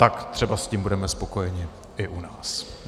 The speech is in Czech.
Tak třeba s tím budeme spokojeni i u nás.